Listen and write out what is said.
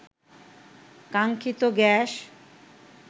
কাঙ্ক্ষিত গ্যাস